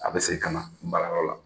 A bɛ segin ka na baarakɛyɔrɔ la